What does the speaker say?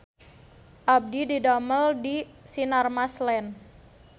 Abdi didamel di Sinarmas Land